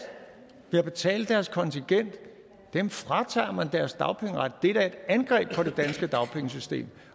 ved at betale deres kontingent dem fratager man deres dagpengeret det er da et angreb på det danske dagpengesystem